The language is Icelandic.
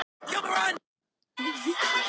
Og já, við erum par